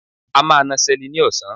A máa na Seli ni osan